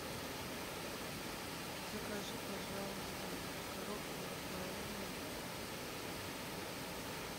закажи пожалуйста коробку рафаэлло